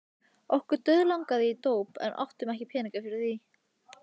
Okkur dauðlangaði í dóp en áttum ekki peninga fyrir því.